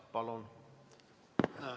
Palun!